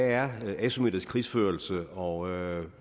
er asymmetrisk krigsførelse og